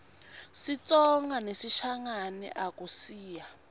sitsonga nesishangane akusiyo